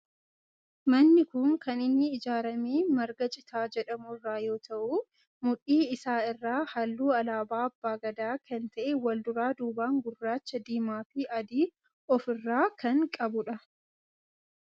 Manni kun kan inni ijaarame marga citaa jedhamu irraa yoo ta'u, mudhii isaa irraa halluu alaabaa abbaa Gadaa kan ta'e wal duraa duuban gurraacha, diimaa fi adii of irraa kan qabudha.